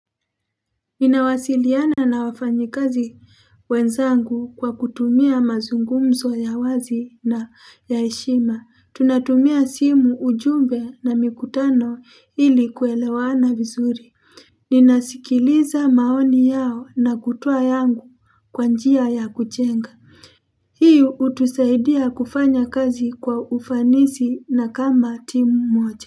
Ninawasiliana na wafanyi kazi wenzangu kwa kutumia mazungumzo ya wazi na ya heshima. Tunatumia simu, ujumbe na mikutano ili kuelewana vizuri. Ninasikiliza maoni yao na kutoa yangu kwa njia ya kujenga. Hi hutusaidia kufanya kazi kwa ufanisi na kama timu moja.